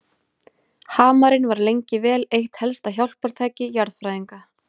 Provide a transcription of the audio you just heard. Hamarinn var lengi vel eitt helsta hjálpartæki jarðfræðinga.